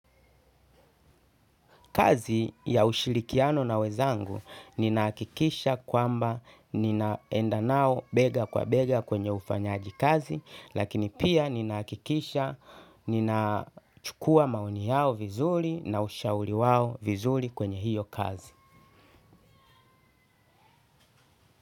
Kazi ya ushirikiano na wenzangu ninahakikisha kwamba ninaenda nao bega kwa bega kwenye ufanyaji kazi lakini pia ninahakikisha ninachukua maoni yao vizuri na ushauri wao vizuri kwenye hiyo kazi.